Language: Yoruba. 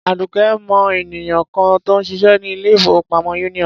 Àdùkẹ́ mọ ènìyàn kan tó ń ṣiṣẹ́ ní ilé-ìfowópamọ́ Union.